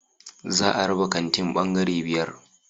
Za a raba kantin bangare biyar